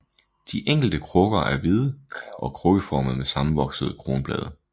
De enkelte blomster er hvide og krukkeformede med sammenvoksede kronblade